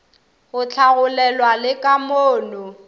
go hlagolelwa le ka mono